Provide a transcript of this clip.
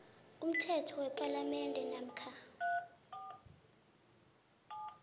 umthetho wepalamende namkha